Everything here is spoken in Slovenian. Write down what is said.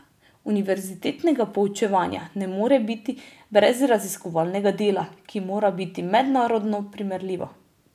Univerzitetnega poučevanja ne more biti brez raziskovalnega dela, ki mora biti mednarodno primerljivo.